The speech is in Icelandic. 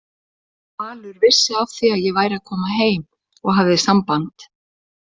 Valur vissi af því að ég væri að koma heim og hafði samband.